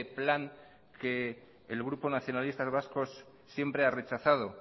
plan que el grupo nacionalistas vascos siempre ha rechazado